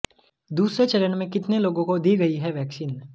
दूसरे चरण में कितने लोगों को दी गई है वैक्सीन